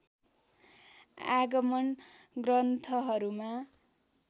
आगम ग्रन्थहरूमा